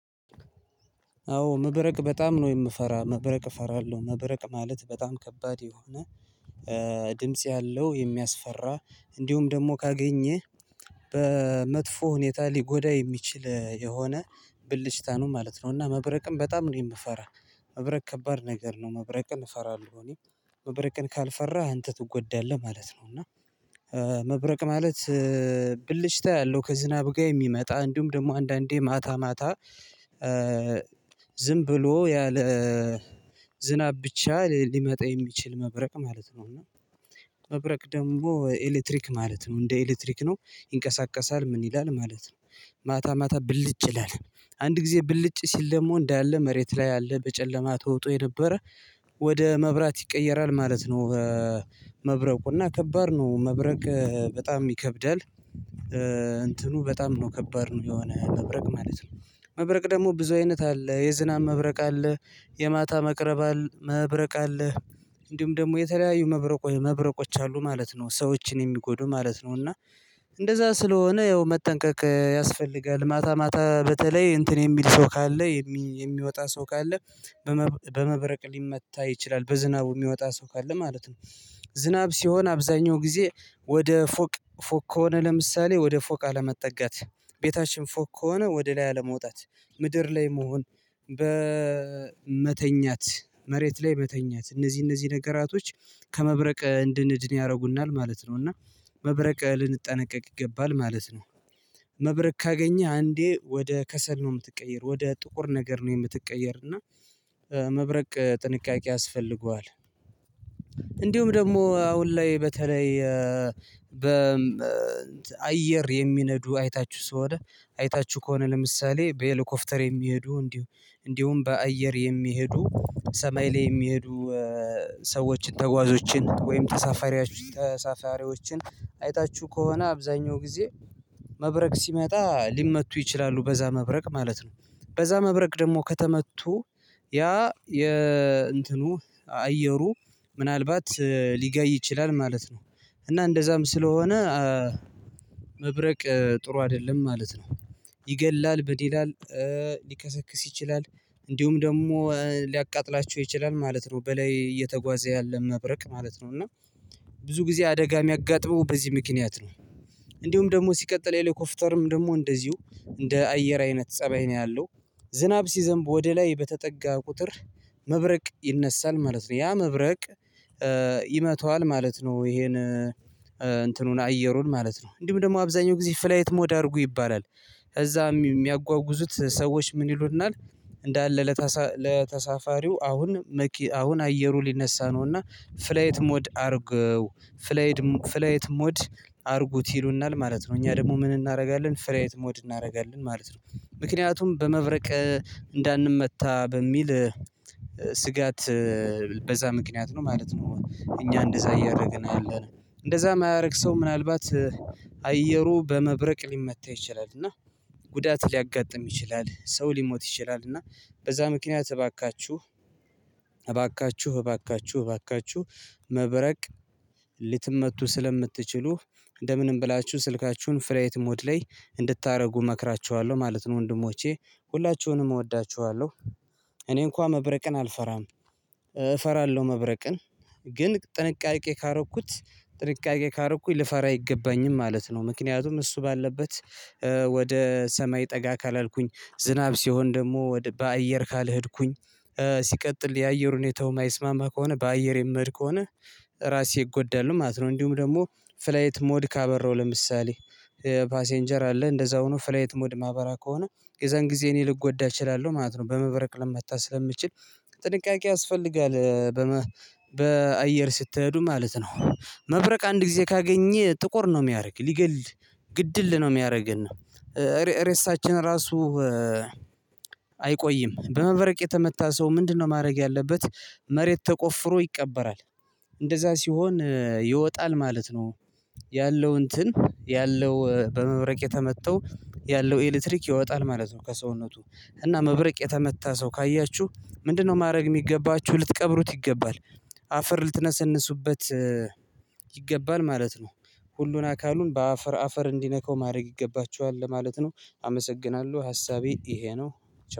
አዎ መብረቅ በጣም ነው የምፈራ መብረቅ እፈራለሁ። መብረቅ ማለት በጣም ከባድ የሆነ ድምጽ ያለው የሚያስፈራ እንዲሁም ደግሞ ካገኘህ በመጥፎ ሁኔታ ሊጎዳ የሚችል የሆነ ብልጭታ ነው ማለት ነው እና መብረቅን በጣም ነው የምፈራ መብረቅ ከባድ ነገር ነው። መብረቅን እንፈራለን እኔ መብረቅን ካልፈራህ አንተ ትጎዳለህ ማለት ነው እና መብረቅ ማለት ብልጭታ ያለው ከዝናብ ጋር የሚመጣ እንዲሁም ደግሞ አንዳንዴ ማታ ማታ ዝም ብሎ ያለ ዝናብ ብቻ ሊመጣ የሚችል መብረቅ ማለት ነው። እና መብረቅ ደግሞ ኤሌክትሪክ ማለት ነው እንደ ኤሌክትሪክ ነው ይንቀሳቀሳል ምን ይላል ማለት ነው። ማታ ማታ ብልጭ ይላል አንድ ጊዜ ብልጭ ሲል ደግሞ እንዳለ መሬት ላይ ያለ በጨለማ ተውጦ የነበረ ወደ መብራት ይቀየራል ማለት ነው በመብረቁ እና ከባድ ነው መብረቅ በጣም ይከብዳል እንትኑ በጣም ነው ከባድ ነው የሆነ መብረቅ ማለት ነው። መብረቅ ደግሞ ብዙ አይነት አለ የዝናብ መብረቅ አለ፣ የማታ መቅረብ አለ መብረቅ አለ፣ እንዲሁም ደግሞ የተለያዩ መብረቆች አሉ ማለት ነው ሰዎችን የሚጎዱ ማለት ነው እና እንደዛ ስለሆነ ያው መጠንቀቅ ያስፈልጋል። ማታ ማታ በተለይ እንትን የሚል ሰው ካለ የሚወጣ ሰው ካለ በመብረቅ ሊመታ ይችላል በዝናቡ የሚወጣ ሰው ካለ ማለት ነው። ዝናብ ሲሆን አብዛኛው ጊዜ ወደ ፎቅ ፎቅ ከሆነ ለምሳሌ ወደ ፎቅ አለመጠጋት ቤታችን ፎቅ ከሆነ ወደ ላይ አለመውጣት ምድር ላይ መሆን በመተኛት መሬት ላይ መተኛት እነዚህ እነዚህ ነገራቶች ከመብረቅ እንድንድን ያደርጉናል ማለት ነው እና መብረቅ ልንጠነቀቅ ይገባል ማለት ነው። መብረቅ ካገኘህ አንዴ ወደ ከሰል ነው የምትቀይር ወደ ጥቁር ነገር ነው የምትቀየር እና መብረቅ ጥንቃቄ ያስፈልገዋል። እንዲሁም ደግሞ አሁን ላይ በተለይ በአየር የሚነዱ አይታችሁ ከሆነ አይታችሁ ከሆነ ለምሳሌ በሄለኮፕተር የሚሄዱ እንዲሁ እንዲሁም በአየር የሚሄዱ ሰማይ ላይ የሚሄዱ ሰዎችን ተጓዦችን ወይም ተሳፋሪዎችን አይታችሁ ከሆነ አብዛኛው ጊዜ መብረቅ ሲመጣ ሊመቱ ይችላሉ በዛ መብረቅ ማለት ነው። በዛ መብረቅ ደግሞ ከተመቱ ያ የእንትኑ አየሩ ምናልባት ሊጋይ ይችላል ማለት ነው፣ እና እንደዛም ስለሆነ መብረቅ ጥሩ አይደለም ማለት ነው። ይገላል በዴላል ሊከሰክስ ይችላል እንዲሁም ደግሞ ሊያቃጥላቸው ይችላል ማለት ነው በላይ እየተጓዘ ያለ መብረቅ ማለት ነው። እና ብዙ ጊዜ አደጋ የሚያጋጥመው በዚህ ምክንያት ነው። እንዲሁም ደግሞ ሲቀጥል የሄለኮፍተርም ደግሞ እንደዚሁ እንደ አየር አይነት ፀባይ ነው ያለው ዝናብ ሲዘንብ ወደ ላይ በተጠጋ ቁጥር መብረቅ ይነሳል ማለት ነው። ያ መብረቅ ይመተዋል ማለት ነው ይሄን እንትኑን አየሩን ማለት ነው እንዲሁም ደግሞ አብዛኛው ጊዜ ፍላይት ሞድ አድርጉ ይባላል ይዛ የሚያጓጉዙት ሰዎች ምን ይሉናል እንዳለ ለተሳፋሪዎች ለተሳፋሪው አሁን አሁን አየሩ ሊነሳ ነው እና ፍላይት ሞድ አድርገው ፍላይድ ፍላይት ሞድ አድርጉት ይሉናል ማለት ነው እኛ ደግሞ ምን እናደርጋለን ፍላይት ሞድ እናደርጋለን ማለት ነው ምክንያቱም በመብረቅ እንዳንመታ በሚል ስጋት በዛ ምክንያት ነው ማለት ነው እኛ እንደዛ እያደረግን ያለነው። እንደዛ የማያደርግ ሰው ምናልባት አየሩ በመብረቅ ሊመታ ይችላል እና ጉዳት ሊያጋጥም ይችላል ሰው ሊሞት ይችላል እና በዛ ምክንያት እባካችሁ እባካችሁ እባካችሁ እባካችሁ መብረቅ ልትመቱ ስለምትችሉ እንደምን ብላችሁ ስልካችሁን ፍላይት ሞድ ላይ እንድታደርጉ እመክራችኋለሁ ማለት ነው ወንድሞቼ ሁላችሁንም እወዳችኋለሁ። እኔ እንኳን መብረቅን አልፈራም እፈራለሁ መብረቅን ግን ጥንቃቄ ካረኩት ጥንቃቄ ካረኩኝ ልፈራ አይገባኝም ማለት ነው። ምክንያቱም እሱ ባለበት ወደ ሰማይ ጠጋ ካላልኩኝ ዝናብ ሲሆን ደግሞ በአየር ካልሄድኩኝ ሲቀጥል የአየር ሁኔታው የማይስማማ ከሆነ በአየር የምሄድ ከሆነ ራሴ እጎዳለሁ ማለት ነው። እንዲሁም ደግሞ ፍላይት ሞድ ካበራው ለምሳሌ ፓሴንጀር አለ እንደዛው ነው ፍላይት ሞድ ማበራ ከሆነ የዛን ጊዜ እኔ ልጎዳ እችላለሁ ማለት ነው በመበረቅ ለመታ ስለምችል ጥንቃቄ ያስፈልጋል በአየር ስትሄዱ ማለት ነው። መብረቅ አንድ ጊዜ ካገኘ ጥቁር ነው የሚያደርግ ሊገል ግድል ነው የሚያደርገን ሬሳችን ራሱ አይቆይም በመበረቅ የተመታ ሰው ምንድነው ማድረግ ያለበት መሬት ተቆፍሮ ይቀበራል። እንደዛ ሲሆን ይወጣል ማለት ነው ያለው እንትን ያለው በመብረቅ የተመተው ያለው ኤሌክትሪክ ይወጣል ማለት ነው ከሰውነቱ እና መብረቅ የተመታ ሰው ካያችሁ ምንድነው ማድረግ የሚገባችሁ ልትቀብሩት ይገባል አፈር ልትነሰንሱበት ይገባል ማለት ነው። ሁሉን አካሉን በአፈር አፈር እንዲነካው ማድረግ ይገባችኋል ለማለት ነው አመሰግናለሁ ሀሳቤ ይሄ ነው።